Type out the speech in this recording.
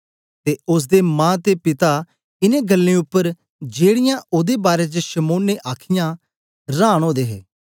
ते ओसदे मां ते पिता इनें गल्लें उपर जेड़ीयां ओदे बारै च शमौन ने आखीयां रांन ओदे हे